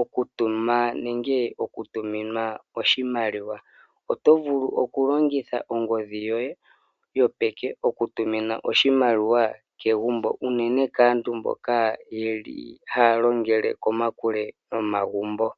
okutuma nenge okutuminwa oshimaliwa. Oto vulu okulongitha ongodhi yoye yopeke okutumina oshimaliwa kegumbo unene kaantu mboka ye li haya longele komakule nomagumbo.